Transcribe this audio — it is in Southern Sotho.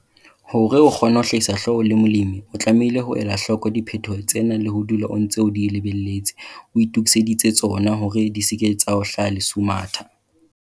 Hore o kgone ho hlahisa hloho o le molemi, o tlamehile ho ela hloko diphetoho tsena le ho dula o ntse o di lebelletse, o itokiseditse tsona hore di se ke tsa o hlaha lesumatha.